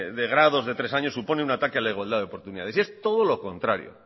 de grado de tres años supone un ataque a la igualdad de oportunidades y es todo lo contrario